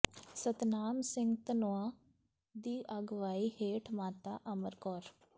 ਸਤਨਾਮ ਸਿੰਘ ਧਨੋਆ ਦੀ ਅਗਵਾਈ ਹੇਠ ਮਾਤਾ ਅਮਰ ਕੌਰ